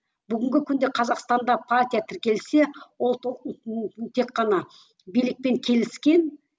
бүгінгі күнде қазақстанда партия тіркелсе ол тек қана билікпен келіскен